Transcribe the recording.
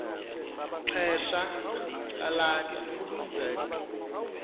xesha lalatha isenzeko